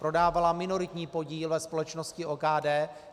Prodávala minoritní podíl ve společnosti OKD.